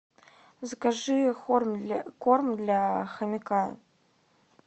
закажи корм для хомяка